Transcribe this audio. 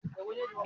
Ẹ sinmi ọ̀tẹ̀